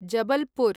Jabalpur